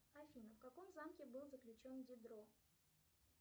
афина в каком замке был заключен дидро